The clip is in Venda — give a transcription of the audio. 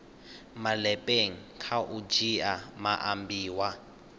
malepeng kha u dzhia maambiwa